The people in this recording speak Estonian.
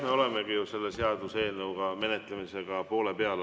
Me olemegi ju selle seaduseelnõu menetlemisega alles poole peal.